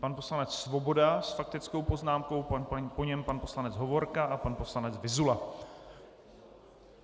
Pan poslanec Svoboda s faktickou poznámkou, po něm pan poslanec Hovorka a pan poslanec Vyzula.